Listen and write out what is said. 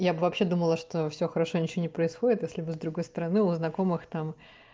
я бы вообще думала что всё хорошо ничего не происходит если бы с другой стороны у знакомых там